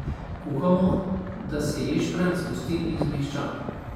Kuhamo, da se ješprenj zgosti in zmehča.